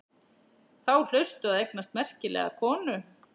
Þá hlaustu að eignast merkilega konu.